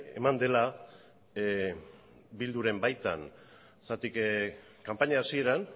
eman dela bilduren baitan zergatik kanpaina hasieran